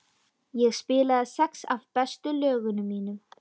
Ég spilaði sex af bestu lögunum mínum.